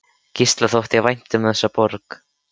Gísla þótti vænt um þessa borg.